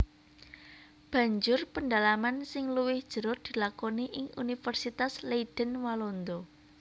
Banjur pendalaman sing luwih jero dilakoni ing Universitas Leiden Walanda